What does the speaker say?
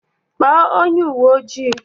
Kpọọ onye uwe ojii!